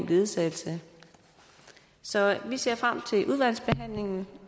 ledsagelse så vi ser frem til udvalgsbehandlingen